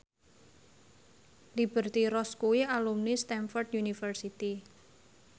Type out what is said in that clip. Liberty Ross kuwi alumni Stamford University